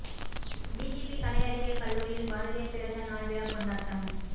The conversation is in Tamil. பிஜிபி கலை அறிவியல் கல்லூரியில் பாரதியார் பிறந்த நாள் விழா கொண்டாட்டம்